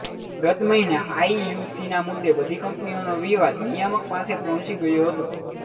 ગત મહિને આઇયૂસીના મુદ્દે બધી કંપનીઓનો વિવાદ નિયામક પાસે પહોંચી ગયો હતો